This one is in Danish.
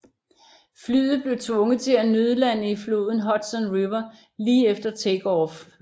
Flyet blev tvunget til at nødlande i floden Hudson River lige efter takeoff